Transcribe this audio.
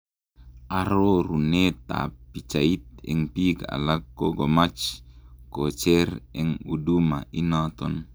Arorunet ap pichait, eng pik alak kokomach kocher eng huduma inaton